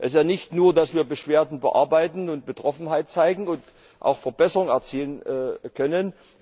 Es ist ja nicht nur, dass wir Beschwerden bearbeiten, Betroffenheit zeigen und auch Verbesserungen erzielen können.